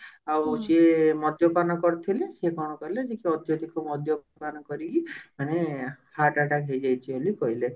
ଆଉ ସିଏ ମଦ୍ୟପାନ କରିଥିଲେ ସେ କଣ କଲେ ଯେ କି ଅତ୍ୟଧିକ ମଦ୍ୟପାନ କରିକି ମାନେ heart attack ହେଇଯାଇଛି ବୋଲି କହିଲେ